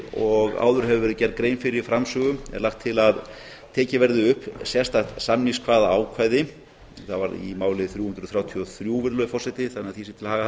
og áður hefur verið gerð grein fyrir framsögu er lagt til að tekið verði upp sérstakt samningssamningskvaðaákvæði þar var í máli þrjú hundruð þrjátíu og þrjú virðulegi forseti þannig að því sé til haga